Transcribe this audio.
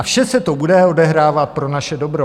A vše se to bude odehrávat pro naše dobro.